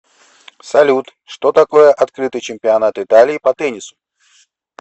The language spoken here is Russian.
салют что такое открытый чемпионат италии по теннису